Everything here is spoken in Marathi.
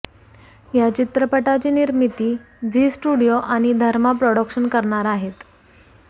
या चित्रपटाची निर्मिती झी स्टुडिओ आणि धर्मा प्रॉडक्शन करणार आहेत